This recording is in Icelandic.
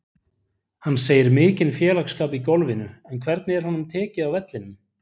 Hann segir mikinn félagsskap í golfinu en hvernig er honum tekið á vellinum?